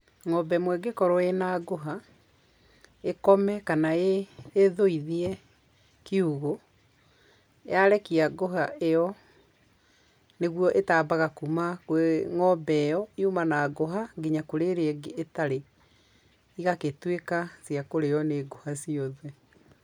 Ng'ombe ĩmwe ĩngĩkorwo ĩna ngũha, ĩkome kana ĩthũithie kiũgũ, yarekia ngũha ĩyo, nĩguo ĩtambaga kuma kwĩ ng'ombe ĩyo yuma na ngũha, nginya kũrĩ ĩrĩa ĩngĩ ĩtarĩ, igagĩtuĩka cia kũrĩo nĩ ngũha ciothe.